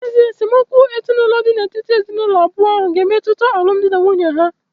N’ezie, esemokwu ezinụlọ dị n’etiti ezinụlọ abụọ ahụ ga-emetụta alụmdi na nwunye ha